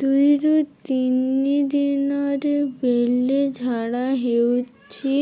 ଦୁଇରୁ ତିନି ଦିନରେ ବେଳେ ଝାଡ଼ା ହେଉଛି